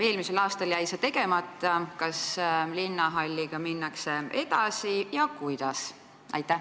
Eelmisel aastal jäi see tegemata, kas linnahalliga minnakse edasi ja kui minnakse, siis kuidas?